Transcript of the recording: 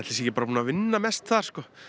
sé ekki bara búinn að vinna mest þar